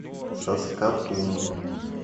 саскатун